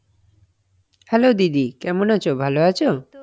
hello দিদি কেমন আছো? ভালো আছো?